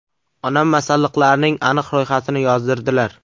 Onam masalliqlarning aniq ro‘yxatini yozdirdilar.